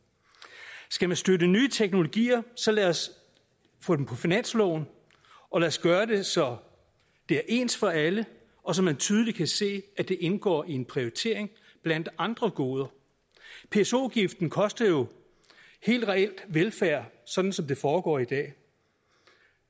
skal vi støtte nye teknologier så lad os få dem på finansloven og lad os gøre det så det er ens for alle og så man tydeligt kan se at det indgår i en prioritering blandt andre goder pso afgiften koster jo helt reelt velfærd sådan som det foregår i dag